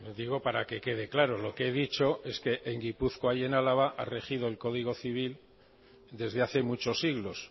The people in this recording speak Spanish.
digo para que quede claro lo que he dicho es que en gipuzkoa y en álava ha regido el código civil desde hace muchos siglos